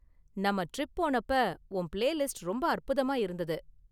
நாம்ம டிரிப் போனப்ப உன் பிளேலிஸ்ட் ரொம்ப அற்புதமா இருந்தது.